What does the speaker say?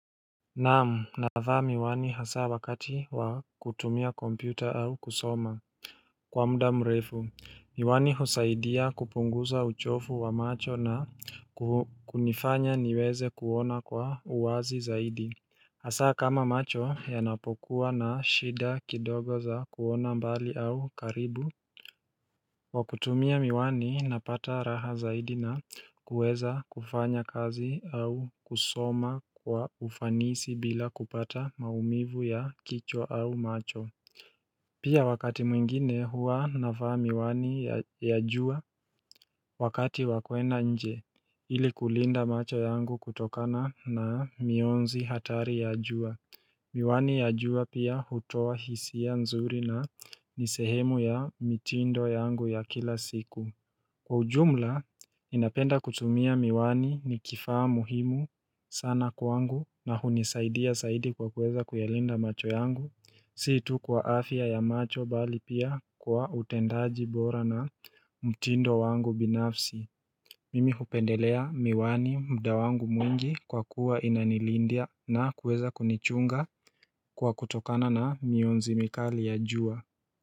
Naam navaa miwani hasa wakati wa kutumia kompyuta au kusoma Kwa muda mrefu, miwani husaidia kupunguza uchovu wa macho na kunifanya niweze kuona kwa uwazi zaidi Hasa kama macho yanapokuwa na shida kidogo za kuona mbali au karibu kwa kutumia miwani napata raha zaidi na kuweza kufanya kazi au kusoma kwa ufanisi bila kupata maumivu ya kichwa au macho Pia wakati mwingine hua navaa miwani ya jua wakati wa kwenda nje ili kulinda macho yangu kutokana na mionzi hatari ya jua Miwani ya jua pia hutoa hisia nzuri na ni sehemu ya mitindo yangu ya kila siku Kwa ujumla, ninapenda kutumia miwani ni kifaa muhimu sana kwangu na hunisaidia zaidi kwa kuweza kuyalinda macho yangu Si tu kwa afya ya macho bali pia kwa utendaji bora na mtindo wangu binafsi Mimi hupendelea miwani mda wangu mwingi kwa kuwa inanilindia na kuweza kunichunga kwa kutokana na mionzi mikali ya jua.